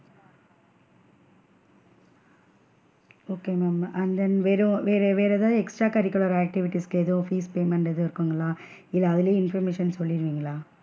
Okay ma'am and then வெறும் வேற வேற ஏதாவது extra curricular activities கு எதுவும் fees payment எதுவும் இருக்குங்களா இல்ல அதுலைய information சொல்லிடுவின்களா?